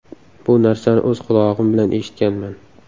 Bu narsani o‘z qulog‘im bilan eshitganman.